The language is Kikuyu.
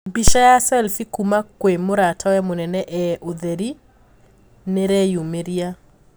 Bica ya selfie kuuma kwi mũratawe mũnene ee ũtheri niireyumiria.